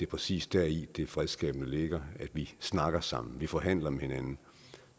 præcis deri det fredsskabende ligger at vi snakker sammen at vi forhandler med hinanden